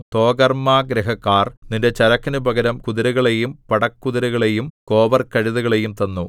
തോഗർമ്മാഗൃഹക്കാർ നിന്റെ ചരക്കിനു പകരം കുതിരകളെയും പടക്കുതിരകളെയും കോവർകഴുതകളെയും തന്നു